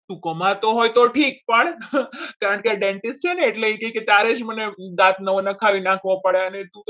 તું કમાતો હોય તો ઠીક પણ કારણ કે dentist છે ને એટલે તારે જ મને દાંત નખાવી નાખવો પડે અને